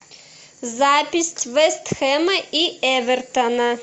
запись вест хэма и эвертона